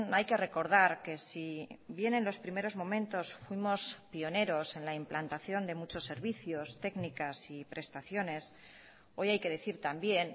hay que recordar que si bien en los primeros momentos fuimos pioneros en la implantación de muchos servicios técnicas y prestaciones hoy hay que decir también